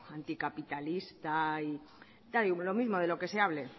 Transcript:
anticapitalista da lo mismo de lo que se hable